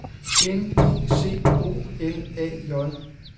N I C O L A J